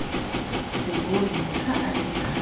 seboni ha a ne a